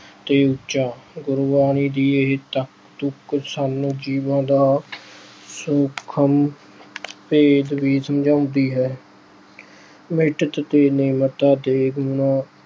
ਤੇ ਊਚਾ॥ ਗੁਰਬਾਣੀ ਦੀ ਇਹ ਤਕ ਅਹ ਤੁਕ ਸਾਨੂੰ ਜੀਵਨ ਦਾ ਸੂਖਮ ਭੇਤ ਵੀ ਸਮਝਾਉਂਦੀ ਹੈ। ਮਿੱਠਤ ਤੇ ਨਿਮਰਤਾ ਦੇਖ ਉਹਨਾਂ